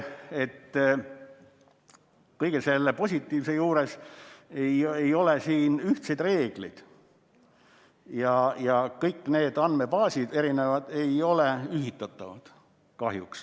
... et kõige selle positiivse juures ei ole siin ühtseid reegleid ja kõik need andmebaasid ei ole kahjuks ühitatavad.